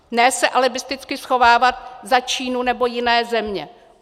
Ne se alibisticky schovávat za Čínu nebo jiné země.